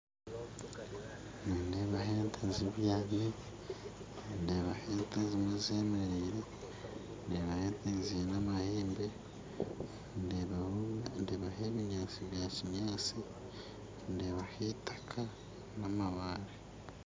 Nindeebaho ente zibyami ndebaho ente ezindi zibyami ndeebaho ente ezimwe zemereire ziine amahembe ndebaho ebinyatsi bya kinyatsi namabaare